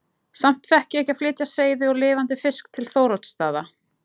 Samt fékk ég ekki að flytja seiði og lifandi fisk til Þóroddsstaða.